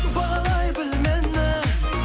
бағалай біл мені